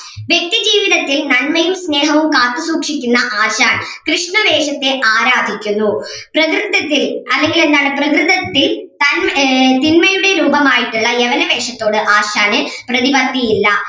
വ്യക്തി ജീവിതത്തിൽ നന്മയും സ്നേഹവും കാത്തു സൂക്ഷിക്കുന്ന ആശാൻ കൃഷ്ണവേഷത്തെ ആരാധിക്കുന്നു പ്രകൃതത്തിൽ അല്ലെങ്കിൽ എന്താണ് പ്രകൃതത്തി തന്മ ഏർ തിന്മയുടെ രൂപമായിട്ടുള്ള യവന വേഷത്തോട് ആശാന് പ്രതിപത്തി ഇല്ല